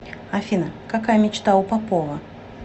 афина какая мечта у попова